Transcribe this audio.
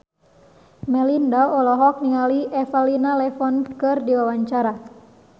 Melinda olohok ningali Elena Levon keur diwawancara